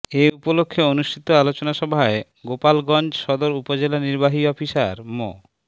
এ উপলক্ষে অনুষ্ঠিত আলোচনা সভায় গোপালগঞ্জ সদর উপজেলা নির্বাহী অফিসার মো